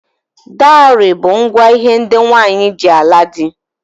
Dowry bu ngwa hé ndị nwanyị ji ala di.